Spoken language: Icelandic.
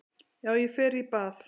Já, ég fer í bað.